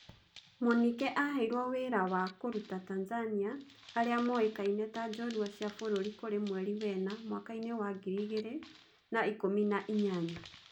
Mũnike aheirwo wĩ ra wa kũruta Tanzania aria moĩ kaine ta njorua cia Bururi kũrĩ mweri wena mwakainĩ wa ngiri igĩ rĩ na ikûmi na inyanya.